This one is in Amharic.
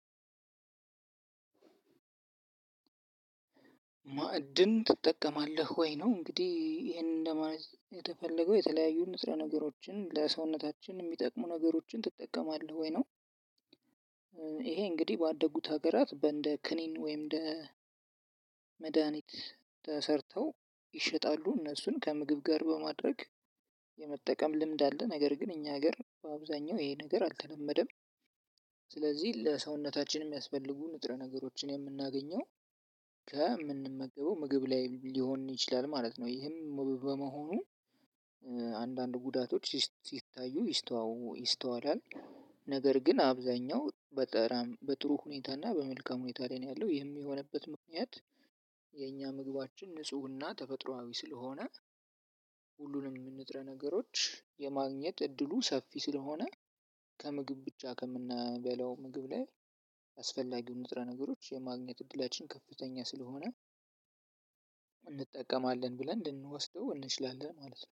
ማዕድን ትጠቀማለህ ወይ ነው እንግዲህ ይሄንን ለማለት የተፈለገው የተለያዩ ንጥረ ነገሮችን ለሰውነታችን የሚጠቅሙ ነገሮችን ትጠቀማለህ ወይ ነው? ይሄ እንግዲህ ባደጉት ሀገራት በእንደ ክኒን ወይም እንደ መድሃኒት ተሰርተው ይሸጣሉ እነሱን ከምግብ ጋር በማድረግ የመጠቀም ልምድ አለ ነገር ግን እኛ ሀገር በአብዛኛው ይሄ ነገር አልተለመደም። ስለዚህ ለሰውነታችን የሚያስፈልጉ ንጥረ ነገሮችን የምናገኘው ከምንመገበው ምግብ ላይ ሊሆን ይችላል ማለት ነው። ይህም በመሆኑ አንዳንድ ጉዳቶች ሲታዩ ይስተዋው ይስተዋዳል። ነገር ግን አብዛኛው በጥሩ ሁኔታ እና በመልካም ሁኔታ ላይ ነው ያለው የሚሆንበት ምክንያት። ምግባችን ንጽህና ተፈጥሮአዊ ስለሆነ። ሁሉንም ንጥረ ነገሮች የማግኘት እድሉ ሰፊ ስለሆነ። ከምግብ ብቻ ከምንበላው ምግብ ላይ አስፈላጊ ንጥረ ነገሮች የማግኘት እድላችን ከፍተኛ ስለሆነ። እንጠቀማለን ብለን ልንወስደው እንችላለን ማለት ነው